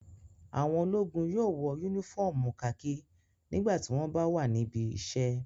Àwọn ológun yóò wọ únífọ́ọ́mù kakí nígbà tí wọ́n bá wà níbi iṣẹ́.